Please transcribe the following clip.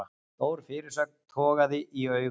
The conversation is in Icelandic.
Stór fyrirsögn togaði í augun